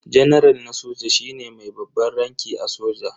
Janaral na soja shine mai babban ranki a soja.